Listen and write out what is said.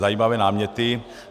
Zajímavé náměty.